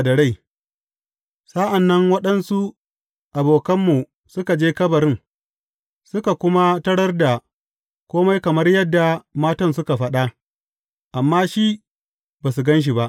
Sa’an nan, waɗansu abokanmu suka je kabarin, suka kuma tarar da kome kamar yadda matan suka faɗa, amma shi, ba su gan shi ba.